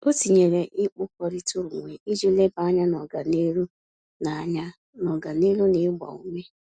O tinyere ikpọrita onwe iji leba anya n'ọganihu na anya n'ọganihu na ịgba ume